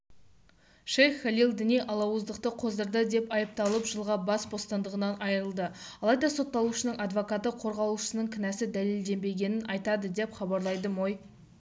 шейх халил діни алауыздықты қоздырды деп айыпталып жылға бас бостандығынан айырылды алайда сотталушының адвокаты қорғалушысының кінәсі дәлелденбегенін айтады деп хабарлайды мой